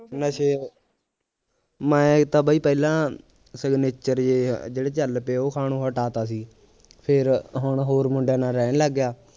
ਨਸ਼ੇ ਮੈ ਇੱਕ ਤਾਂ ਬਈ ਪਹਿਲਾਂ ਸਿਗਨੇਚਰ ਜਿਹੇ ਜਿਹੜੇ ਚੱਲਪੇ ਉਹ ਖਾਣੋ ਹਟਾ ਤਾ ਸੀ ਫਿਰ ਹੁਣ ਹੋਰ ਮੁੰਡਿਆਂ ਨਾਲ ਰਹਿਣ ਲੱਗ ਗਿਆ